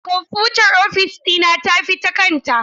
Kwamfutar ofis dina ta tafi da kanta.